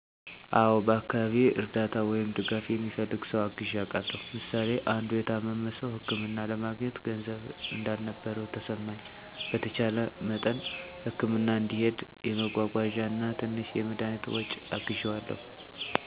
አዎን፣ በአካባቢዬ እርዳታ ወይም ድጋፍ የሚፈልግ ሰው አግዠ አውቃለሁ። ምሳሌ አንዱ የታመመ ሰው ህክምና ለማግኘት ገንዘብ እንዳልነበረው ተሰማኝ፣ በተቻለ መጠን ህክምና እንዲሄድ የመጓጓዣ እና ትንሽ የመድኃኒት ወጪ አግዠዋለሁ። ሌላ ደግም የታመመ አጋዠ የሌለው ሰው ከቤት እየሄድኩ ምግብ በማብሰል እና በአንዳንድ ነገሮች አግዣለሁ። ያገዠኩበት መንገድም በገንዘብ, በመጓጓዣ እና ከቤት ወደ ሆስፒታል መያዝ፣ በምግብ እና ልብስ ድጋፍ አግዣለሁ